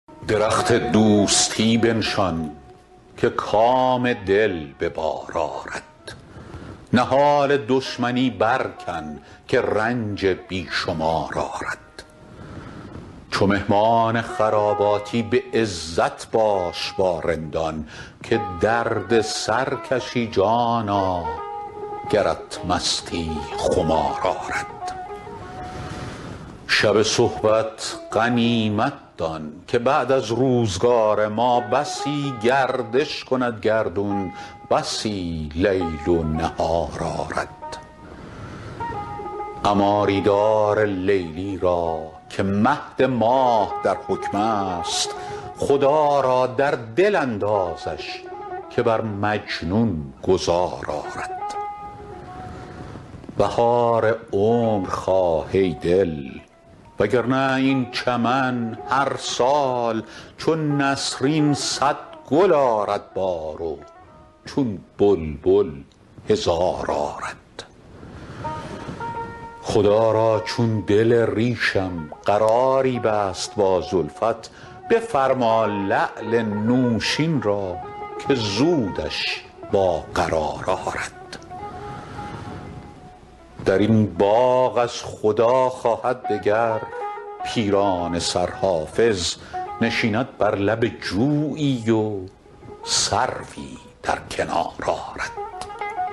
درخت دوستی بنشان که کام دل به بار آرد نهال دشمنی برکن که رنج بی شمار آرد چو مهمان خراباتی به عزت باش با رندان که درد سر کشی جانا گرت مستی خمار آرد شب صحبت غنیمت دان که بعد از روزگار ما بسی گردش کند گردون بسی لیل و نهار آرد عماری دار لیلی را که مهد ماه در حکم است خدا را در دل اندازش که بر مجنون گذار آرد بهار عمر خواه ای دل وگرنه این چمن هر سال چو نسرین صد گل آرد بار و چون بلبل هزار آرد خدا را چون دل ریشم قراری بست با زلفت بفرما لعل نوشین را که زودش با قرار آرد در این باغ از خدا خواهد دگر پیرانه سر حافظ نشیند بر لب جویی و سروی در کنار آرد